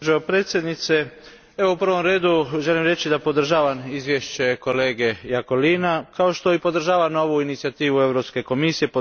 Gospođo predsjednice, u prvom redu želim reći da podržavam izvješće kolege Iacolina, kao što i podržavam ovu inicijativu Europske komisije.